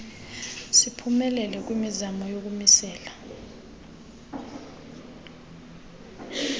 siphumelele kwimizamo yokumisela